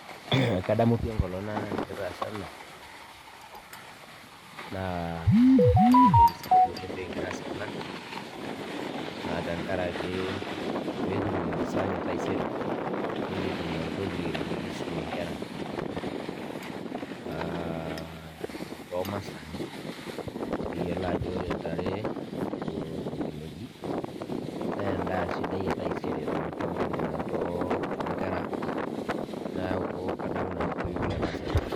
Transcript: Kadamu pi enkolong nikitaasa ena, naa kajo entoki sidai oleng pikigira aas ena, naa tenkaraki pikitum masaa ang etaisere, nikitum entoki nikisumie nkera tomasaa. Nikiyiolo ajo ore ntare ashu inkineji nendaa sidai etaisere tontokiting tonkera ang. Neeku kadamu nanu pi orkekun nataasa ena.